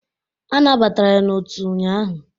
A nabatara ya n'otu ụnyaahụ